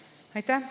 Aitäh!